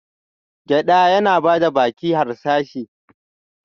Gyada yana da baki harsashi.